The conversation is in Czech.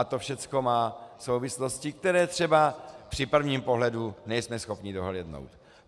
A to všechno má souvislosti, které třeba při prvním pohledu nejsme schopni dohlédnout.